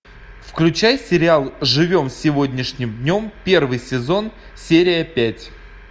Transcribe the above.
включай сериал живем сегодняшним днем первый сезон серия пять